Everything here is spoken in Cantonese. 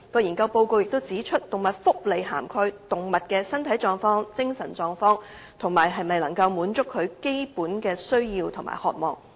研究報告指出，動物福利涵蓋動物的身體狀況、精神狀況，以及能否滿足其基本的需要和渴望。